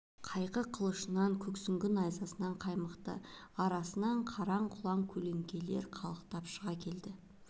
қайқы қылышынан көк сүңгі найзасынан қаймықты арасынан қараң-құраң көлеңкелер қалықтап шыға келді